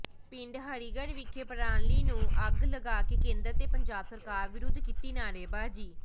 ਪਿੰਡ ਹਰੀਗੜ੍ਹ ਵਿਖੇ ਪਰਾਲੀ ਨੂੰ ਅੱਗ ਲਗਾ ਕੇ ਕੇਂਦਰ ਤੇ ਪੰਜਾਬ ਸਰਕਾਰ ਵਿਰੁੱਧ ਕੀਤੀ ਨਾਅਰੇਬਾਜ਼ੀ